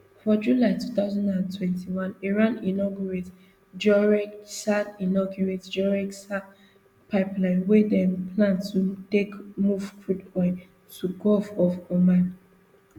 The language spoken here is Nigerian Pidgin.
for july two thousand and twenty-one iran inaugurate gorehjask inaugurate gorehjask pipeline wey dem plan to take move crude oil to gulf of oman